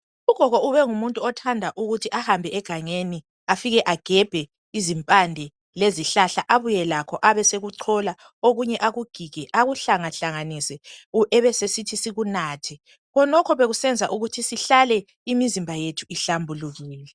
Ugogo ubengumuntu obethanda ukuthi ahambe egangeni afike agebhe izimpande lezihlahla abuye lakho abe sekuchola okunye akugige akuhlangahlanganise ebesesithi sikunathe. Khonokho bekusenza ukuthi sihlale imizimba yethu ihlambulukile.